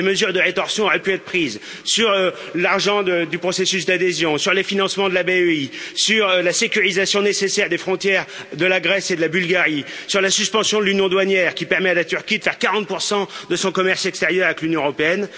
Des mesures de rétorsion auraient pu être prises sur l'argent du processus d'adhésion, sur les financements de la BEI, sur la sécurisation nécessaire des frontières de la Grèce et de la Bulgarie, sur la suspension de l'union douanière, qui permet à la Turquie de faire 40 de son commerce extérieur avec l'Union européenne.